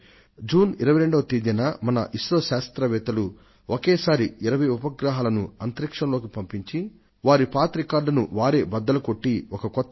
June 22న I S R O కు చెందిన మన శాస్త్రవేత్తలు ఏక కాలంలో 20 ఉపగ్రహాలను అంతరిక్షంలోకి ప్రయోగించి ఆ క్రమంలో వారి పాత రికార్డులను బద్దలు కొట్టి ఒక కొత్త రికార్డును నెలకొల్పారు